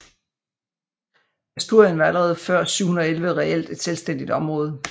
Asturien var allerede før 711 reelt et selvstændigt område